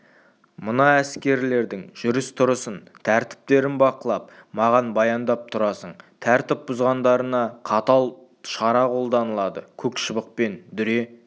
мына әскерлердің жүріс-тұрысын тәртіптерін бақылап маған баяндап тұрасың тәртіп бұзғандарына қатал шара қолданылады көк шыбықпен дүре